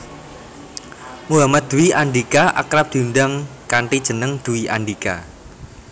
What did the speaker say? Muhammad Dwi Andhika akrab diundang kanthi jeneng Dwi Andhika